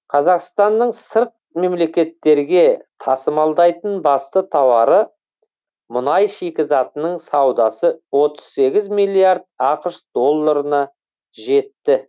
қазақстанның сырт мемлекеттерге тасымалдайтын басты тауары мұнай шикізатының саудасы отыз сегіз миллиард ақш долларына жетті